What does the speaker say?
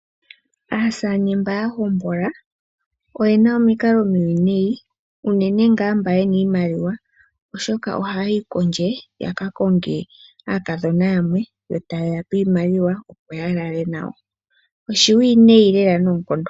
Aasaane mba ya hombola oyena omikalo omiwinayi unene ngaa mba yena iimaliwa, oshoka oha ya yi kondje yaka konge aakadhona yamwe yo taye ya pe iimaliwa opo ya lale nayo. Oshiwiinayi lela noonkondo.